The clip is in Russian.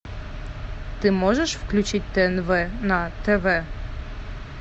ты можешь включить тнв на тв